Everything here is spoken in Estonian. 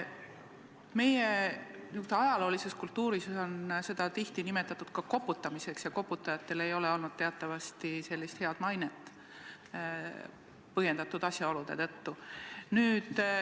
Meie ajaloolises kultuuris on seda tihti nimetatud ka koputamiseks, aga koputajatel teatavasti pole olnud head mainet, põhjendatud asjaolude tõttu.